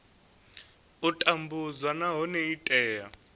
u tambudzwa nahone i tea